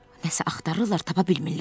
Nəsə axtarırlar, tapa bilmirlər.